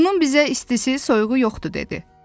Bunun bizə istisi, soyuğu yoxdu dedi.